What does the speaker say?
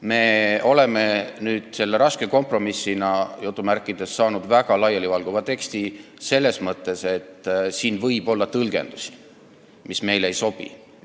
Me oleme nüüd selle "raske kompromissina" saanud väga laialivalguva teksti selles mõttes, et siin võib olla tõlgendusi, mis meile ei sobi.